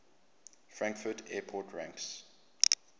frankfurt airport ranks